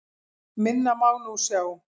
Minna má nú sjá.